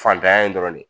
Fantanya in dɔrɔn de ye